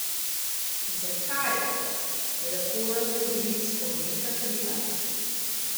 Zakaj, lepo razloži Spomenka Hribar.